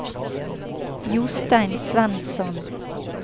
Jostein Svensson